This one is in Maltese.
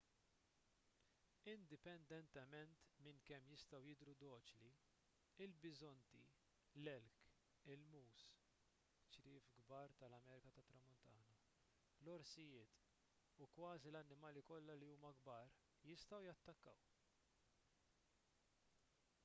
indipendentement minn kemm jistgħu jidhru doċli il-biżonti l-elk il-moose ċriev kbar tal-amerika tat-tramuntana l-orsijiet u kważi l-annimali kollha li huma kbar jistgħu jattakkaw